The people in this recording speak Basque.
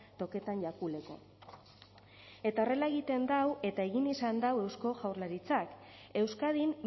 toketan jakuleko eta horrela egiten dau eta egin izan dau eusko jaurlaritzak euskadin